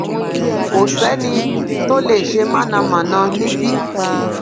kò sẹni tó lè ṣe mọnàmọná níbí